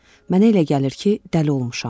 Mənə elə gəlir ki, dəli olmuşam.